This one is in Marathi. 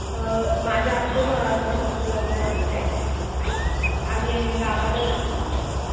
माझं आताच बहिणीचं लग्न झालंय. आम्ही गावाला गेलो होतो.